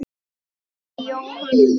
Þín Jóhanna María.